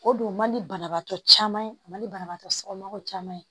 O don man di banabaatɔ caman ye a man di banabagatɔ somɔgɔw caman ye